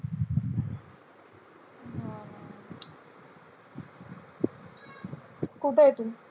कुठंय तू?